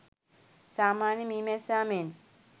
සාමාන්‍ය මී මැස්සා මෙන්